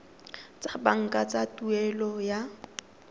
tsa banka tsa tuelo ya